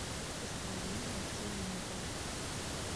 построение цилиндра